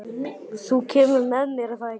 Þú kemur með, er það ekki?